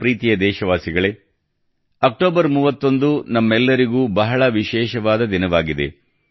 ನನ್ನ ಪ್ರೀತಿಯ ದೇಶವಾಸಿಗಳೇ ಅಕ್ಟೋಬರ್ 31 ನಮ್ಮೆಲ್ಲರಿಗೂ ಬಹಳ ವಿಶೇಷವಾದ ದಿನವಾಗಿದೆ